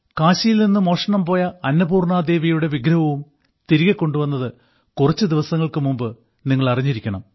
കാശിയിൽ നിന്ന് മോഷണം പോയ അന്നപൂർണാദേവിയുടെ വിഗ്രഹവും തിരികെ കൊണ്ടുവന്നത് കുറച്ച് ദിവസങ്ങൾക്ക് മുമ്പ് നിങ്ങൾ അറിഞ്ഞിരിക്കണം